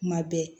Kuma bɛɛ